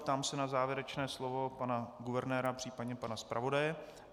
Ptám se na závěrečné slovo pana guvernéra, případně pana zpravodaje.